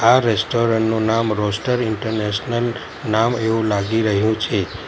આ રેસ્ટોરન્ટ નું નામ રોસ્ટર ઇન્ટરનેશનલ નામ એવું લાગી રહ્યું છે.